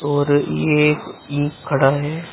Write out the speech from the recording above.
और ये एक ईक खड़ा है।